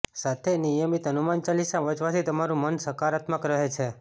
સાથે નિયમિત હનુમાન ચાલીસા વાંચવા થી તમારું મન સકારાત્મક રહે છે